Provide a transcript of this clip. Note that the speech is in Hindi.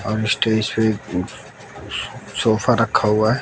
और स्टेज पे सो सोफा रखा हुआ है।